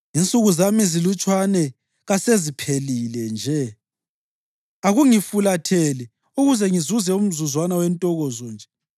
Insuku zami ezilutshwane kaseziphelile nje? Akungifulathele ukuze ngizuze umzuzwana wentokozo nje